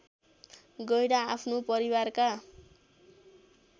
गैंडा आफ्नो परिवारका